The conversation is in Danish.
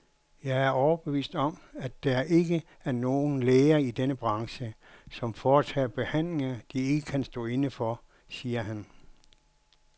Jeg er overbevist om, at der ikke er nogen læger i denne branche, som foretager behandlinger, de ikke kan stå inde for, siger han.